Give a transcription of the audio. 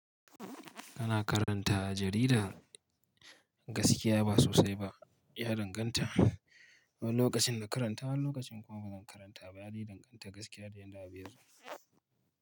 Kana karanta jaridar? Gaskiya ba sosai ba, ya danganta. Wani lokacin na karanta wani lokacin kuma ba zan karanta ba, ya dai danganta gaskiya da yadda a bin ya zo.